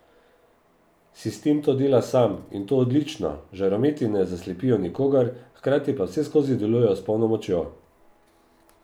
Sistem to dela sam, in to odlično, žarometi ne zaslepijo nikogar, hkrati pa vseskozi delujejo s polno močjo.